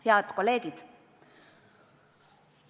Head kolleegid!